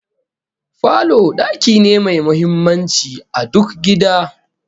Falo daki ne mai muhimmanci a duk gida